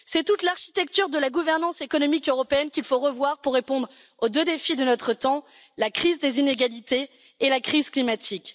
C'est toute l'architecture de la gouvernance économique européenne qu'il faut revoir pour répondre aux deux défis de notre temps la crise des inégalités et la crise climatique.